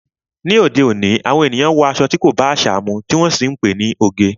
Ni òde òní, àwọn ènìyàn wọ aṣọ tí kò bá àṣà mu, tí wọ́n sì ti ń pe ní oge.